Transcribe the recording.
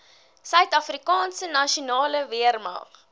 suidafrikaanse nasionale weermag